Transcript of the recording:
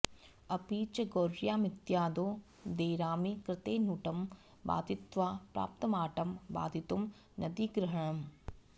अपि च गौर्यामित्यादौ ङेरामि कृते नुटं बाधित्वा प्राप्तमाटं बाधितुं नदीग्रहणम्